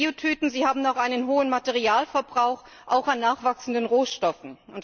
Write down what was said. Biotüten haben auch einen hohen Materialverbrauch, auch an nachwachsenden Rohstoffen.